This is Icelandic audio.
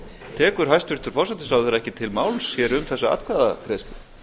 tekur hæstvirtur forsætisráðherra ekki til máls hér um þessa atkvæðagreiðslu